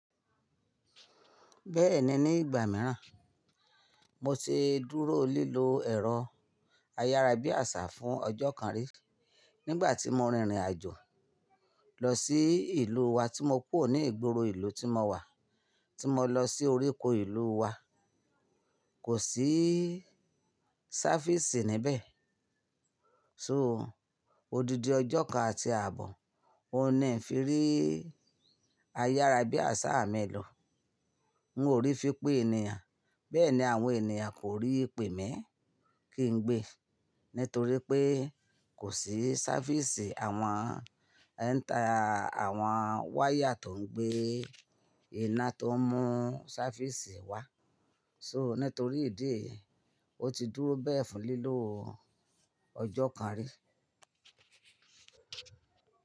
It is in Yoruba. Bẹ́ẹ̀ni ní ìgbà mìíràn, mo ti dúró lílo ẹ̀rọ ayára bí àṣá fún ọjọ́ kan rí nígbà tí mo rin ìrìn àjò lọ sí ìlú wa tí mo kúrò ní ìgboro ìlú tí mo wà tí mo lọ sí oríko ìlú wa. Kò sí sáfíìsì níbẹ̀. So, odidi ọjọ́ kan àti àbọ̀ o ní fi rí ayára bí àṣá mi lọ. N ò rí fi pé ènìyàn, bẹ́ẹ̀ni àwọn ènìyàn kò rí i pé mi kí n gbé, nítorí pé kò sí sáfíìsì àwọn ẹ́ńtà àwọn wáyà tó ń gbé iná tó ń mú sáfíìsì wá. So, nítorí ìdí èyí ó ti dúró bẹ́ẹ̀ fún lílo ọjọ́ kan rí.